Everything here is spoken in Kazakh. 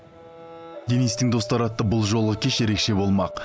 денистің достары атты бұл жолғы кеш ерекше болмақ